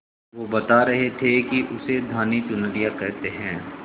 वो बता रहे थे कि उसे धानी चुनरिया कहते हैं